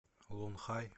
лунхай